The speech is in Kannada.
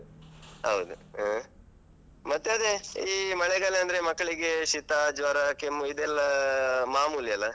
ಹೌದು ಹಾ. ಮತ್ತೆ ಅದೇ ಈ ಮಳೆಗಾಲ ಅಂದ್ರೆ ಮಕ್ಕಳಿಗೆ ಶೀತ, ಜ್ವರ, ಕೆಮ್ಮು ಇದೆಲ್ಲ ಮಾಮೂಲಿ ಅಲ.